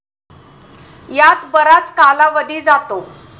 यात बराच कालावधी जातो.